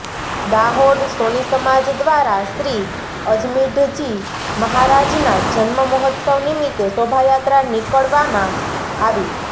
દાહોદ સોની સમાજ દ્વારા શ્રી અજમીઢજી મહારાજના જન્મ મહોત્સવ નિમિત્તે શોભાયાત્રા નીકળવામાં આવી